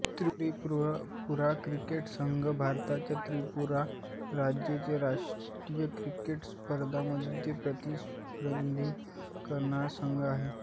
Tripura cricket संघ भारताच्या त्रिपुरा राज्याचे राष्ट्रीय क्रिकेट स्पर्धांमध्ये प्रतिनिधित्व करणारा संघ आहे